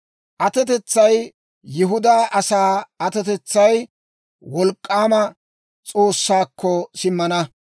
Atetsay, Yihudaa asaa atetsay Wolk'k'aama S'oossaakko simmana.